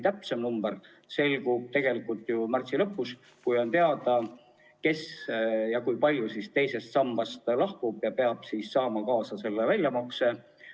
Täpsem number selgub tegelikult märtsi lõpus, kui on teada, kui palju inimesi teisest sambast lahkub ja peab saama väljamakse.